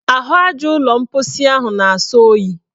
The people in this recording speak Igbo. Ahụaja ụlọ mposi ahụ na-asọ oyi.